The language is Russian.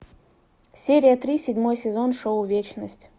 серия три седьмой сезон шоу вечность